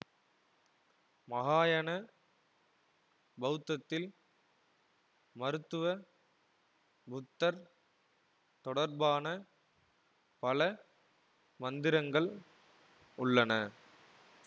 மஹாயன பௌத்தத்தில் மருத்துவ புத்தர் தொடர்பான பல மந்திரங்கள் உள்ளன